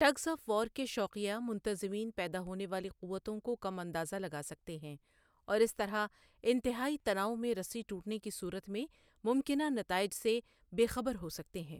Tugs of war کے شوقیہ منتظمین پیدا ہونے والی قوتوں کو کم اندازہ لگا سکتے ہیں اور اس طرح انتہائی تناؤ میں رسی ٹوٹنے کی صورت میں ممکنہ نتائج سے بے خبر ہو سکتے ہیں۔